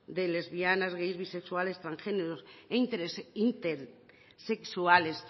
de lesbianas gays bisexuales transgéneros intersexuales